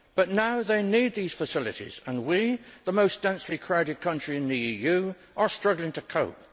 but now they need these facilities, and we, the most densely crowded country in the EU, are struggling to cope.